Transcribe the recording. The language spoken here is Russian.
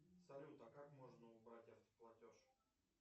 салют а как можно убрать автоплатеж